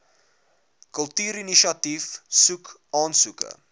kultuurinisiatief soek aansoeke